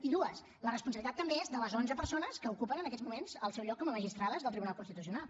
i dues la responsabilitat també és de les onze persones que ocupen en aquests moments el seu lloc com a magistrades del tribunal constitucional